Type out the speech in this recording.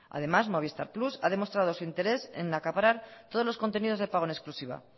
además movistar plus ha demostrado su interés en acaparar todos los contenidos de pago en exclusiva